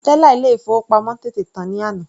Tẹ́là ilé ìfowópamọ́ tètè tán ní àná.